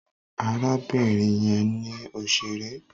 Arábìnrin yẹn ni òṣèré.